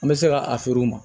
An bɛ se ka a feere u ma